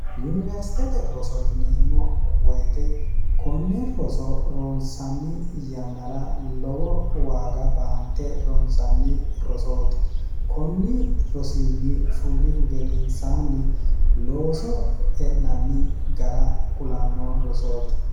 yuniwersiteete roso yineemmo woyite konne roso ronsanni yannara lowo waaga baante ronsanni rosooti konni rosiinni fullihu gedeensaanni looso e'nanni gara qulanno rosooti